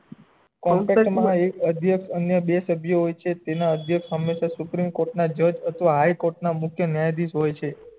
એક અધ્યક્ષ અને બે સભ્ય હોય છે તેના અધ્યક્ષ હમેશા સુપ્રીમ કોર્ટ ના જજ અથવા હાઈ કોર્ટ ના મુખ્ય ન્યાયાદ્ધીશ હોય છે